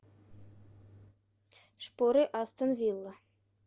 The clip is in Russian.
шпоры астон вилла